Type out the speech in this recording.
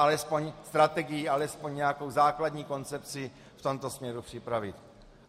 Alespoň strategii, alespoň nějakou základní koncepci v tomto směru připravit.